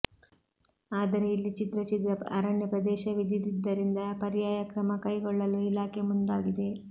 ಆದರೆ ಇಲ್ಲಿ ಚಿದ್ರ ಚಿದ್ರ ಅರಣ್ಯ ಪ್ರದೇಶವಿದಿದ್ದರಿಂದ ಪರ್ಯಾಯ ಕ್ರಮ ಕೈಗೊಳ್ಳಲು ಇಲಾಖೆ ಮುಂದಾಗಿದೆ